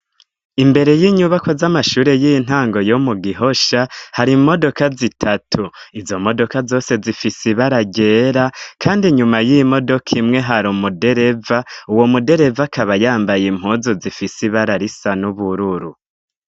Imbere y'inyubakwa z'amashure y'intango yo mu Gihosha, hari imodoka zitatu. Izo modoka zose zifise ibara ryera, kandi nyuma y'imodoka imwe hari umudereva, uwo mudereva akaba yambaye impuzu zifise ibara risa n'ubururu.